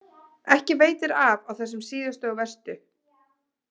Ekki veitir af á þessum síðustu og verstu.